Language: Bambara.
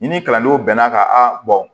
I ni kalandenw bɛn n'a kan a